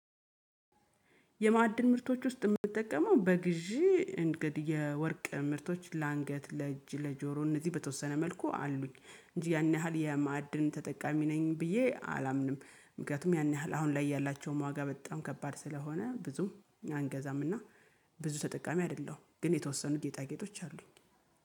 የማዕድን ምርቶች ውስጥ የምጠቀመው በግዢ እንግዲህ የወርቅ ምርቶች ለአንገት ለእጅ ለጆሮ እነዚህ በተወሰነ መልኩ አሉኝ እንጂ ያን ያህል የማዕድን ተጠቃሚ ነኝ ብዬ አላምንም ምክንያቱም ያን ያህል አሁን ላይ ያላቸውም ዋጋ በጣም ከባድ ስለሆነ ብዙም አንገዛምና ብዙ ተጠቃሚ አይደለሁም። ግን የተወሰኑ ጌጣጌጦች አሉኝ